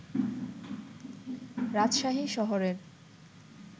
রাজশাহী শহরের